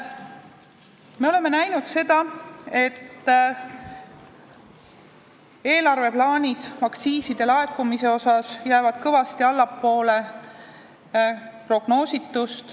Me oleme näinud, et aktsiiside laekumised eelarvesse jäävad prognoositust kõvasti allapoole.